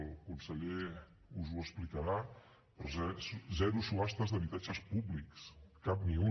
el conseller us ho explicarà però zero subhastes d’habitatges públics cap ni un